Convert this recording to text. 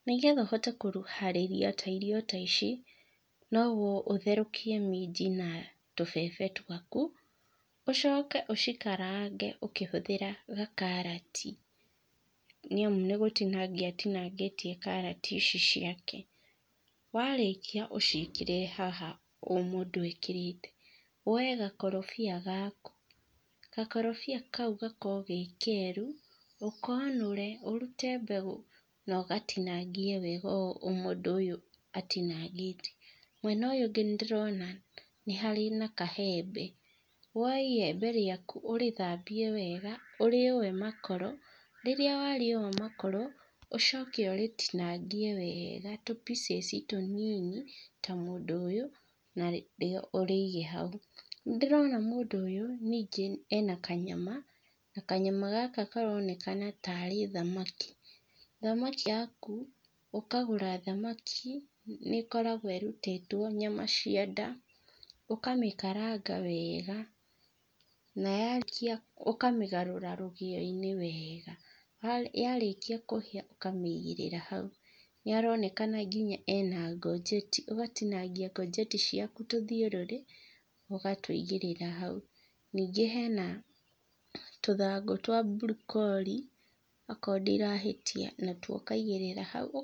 Nĩgetha ũhote kũharĩria ta irio ta ici, no ũthorekie minji na tũbebe twaku, ũcoke ũcikarange ũkĩhũthĩra gakarati, nĩ amu nĩ gũtinangia atinangĩtie karati ici ciake. Warĩkia ũciĩkĩre haha ũyũ mũndũ ekĩrĩte, woe gakorobia gaku, gakorobia kau gakorwo ge keru, ũkonore ũrute mbegũ no gatingie wega ũũ mũndũ ũyũ atinangĩtie. Mwena ũyũ ũngĩ nĩ ndĩrona nĩ harĩ na kaembe, woe iyembe rĩaku ũrĩthambie wega ũrĩũe makoro, rĩrĩa warĩũa makoro ũcoke ũrĩtinangie wega tũ pieces tũnini ta mũndũ ũyũ, ũrĩige hau. Nĩ ndĩrona mũndũ ũyũ ningĩ ena kanyama, kanyama gaka karonekana tarĩ thamaki, thamaki yaku ũkagũra thamaki, nĩkoragwo ĩrutĩtwe nyama cia nda, ũkamĩkaranga wega na ta rĩkia, ũkamĩgarũra rũgĩo-inĩ wega, yarĩkia kũhĩa ũkamĩgĩrĩra hauy. Nĩ aronekana ena ngonjeti, ũgatinangia ngonjeti ciaku tũthiũrũrĩ ũgatũigĩrĩra hau. Ningĩ hena tũthangũ twa broccoli okorwo ndirahĩtia na tuo ũkaigĩrĩra hau.